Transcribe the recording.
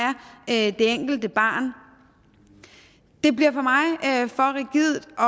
er det enkelte barn bliver for mig for rigidt og